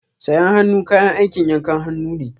Sayen hannu kayan aikin yankan hannu ne.